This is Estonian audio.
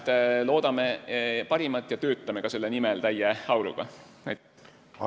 Nii et loodame parimat ja töötame ka täie auruga selle nimel.